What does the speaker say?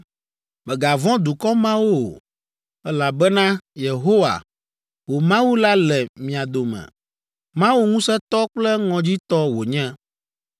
“Mègavɔ̃ dukɔ mawo o, elabena Yehowa, wò Mawu la le mia dome; Mawu ŋusẽtɔ kple ŋɔdzitɔ wònye.